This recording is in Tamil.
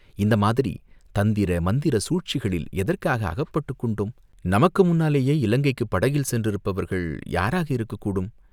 இந்த மாதிரி தந்திர மந்திர சூழ்ச்சிகளில் எதற்காக அகப்பட்டுக் கொண்டோம், நமக்கு முன்னாலேயே இலங்கைக்குப் படகில் சென்றிருப்பவர்கள் யாராக இருக்கக் கூடும்